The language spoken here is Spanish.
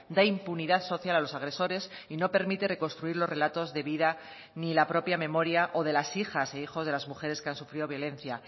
da impunidad social a los agresores y no permite reconstruir los relatos de vida ni la propia memoria o de las hijas e hijos de las mujeres que han sufrido violencia